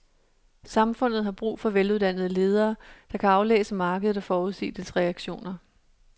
Samfundet har brug for veluddannede ledere, der kan aflæse markedet og forudsige dets reaktioner.